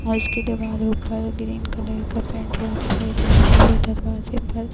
औ इसके दिवारों पर ग्रीन कलर का पेंट ह्वा दिखाई दे रहा है औ दरवाजे पर --